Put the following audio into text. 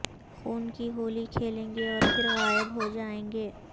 خون کی ہولی کھیلیں گے اور پھر غایب ہوجایں گے